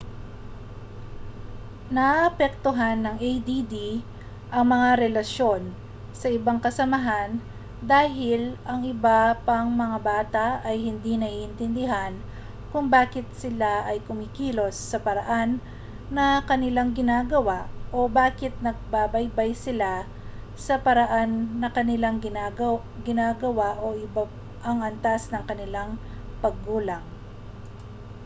naaapektuhan ng add ang mga relasyon sa ibang kasamahan dahil ang iba pang mga bata ay hindi naiintindihan kung bakit sila ay kumikilos sa paraan na kanilang ginagawa o bakit nagbabaybay sila sa paraan na kanilang ginagawa o iba ang antas ng kanilang paggulang